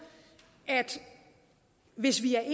hvis vi er